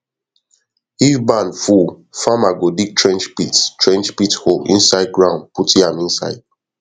if barn full farmer go dig trench pit trench pit hole inside ground put yam inside